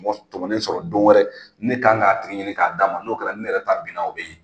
Mɔ tɔmɔnen sɔrɔ don wɛrɛ ne kan k'a tigi ɲini k'a d'a ma n'o kɛra ne yɛrɛ ta bin na o bɛ ye.